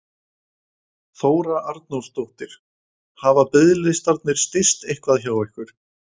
Þóra Arnórsdóttir: Hafa biðlistarnir styst eitthvað hjá ykkur?